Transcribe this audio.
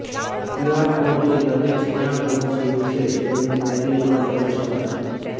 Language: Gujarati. ક્યુઆર કોડથી લગેજ ક્યાં પહોંચ્યું છે તેનું ટ્રેકિંગ પણ કરી શકાશે